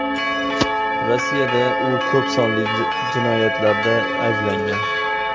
Rossiyada u ko‘p sonli jinoyatlarda ayblangan.